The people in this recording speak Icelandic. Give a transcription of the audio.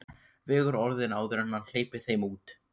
Vegur orðin áður en hann hleypir þeim út.